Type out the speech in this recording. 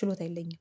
ችሎታ የለኝም